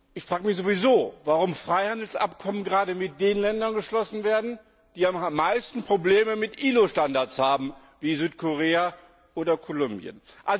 Ich frage mich sowieso, warum Freihandelsabkommen gerade mit den Ländern geschlossen werden, die am meisten Probleme mit ILO Standards haben wie Südkorea oder Kolumbien.